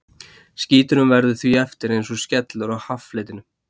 Skíturinn verður því eftir eins og skellur á haffletinum.